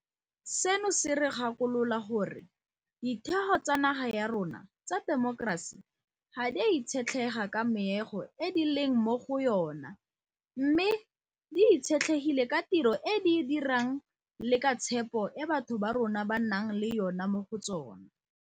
Seno se re gakolola gore ditheo tsa naga ya rona tsa temokerasi ga di a itshetlega ka meago e di leng mo go yona mme di itshetlegile ka tiro e di e dirang le ka tshepo e batho ba rona ba nang le yona mo go tsona.